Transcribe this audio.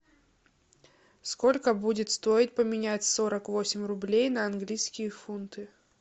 сколько будет стоить поменять сорок восемь рублей на английские фунты